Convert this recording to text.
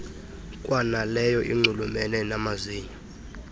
kwanaleyo inxulumene nayamazinyo